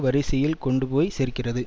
வரிசையில் கொண்டு போய் சேர்க்கிறது